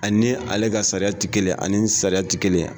Ani ale ka sariya tɛ kelen ani sariya tɛ kelen ye